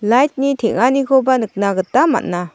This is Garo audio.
lait ni teng·anikoba nikna gita man·a.